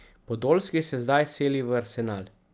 Podolski se zdaj seli v Arsenal.